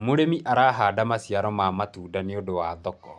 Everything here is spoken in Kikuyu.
mũrĩmi arahanda maciaro ma matunda nĩũndũ wa thoko